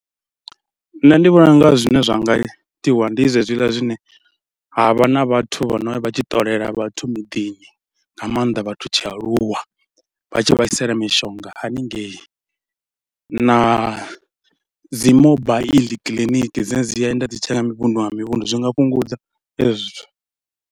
Nṋe ndi vhona u nga zwine zwa nga itiwa ndi zwezwiḽa zwine ha vha na vhathu vha no ya vha tshi ṱolela vhathu miḓini nga maanḓa vhathu tshialuwa, vha tshi vha isela mishonga haningei na dzi mobaiḽi kiḽiniki dzine dzi yenda dzi tshi ya kha mivhundu nga mivhundu, zwi nga fhungudza hezwi zwithu.